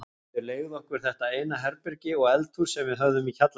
Þau leigðu okkur þetta eina herbergi og eldhús sem við höfðum í kjallaranum.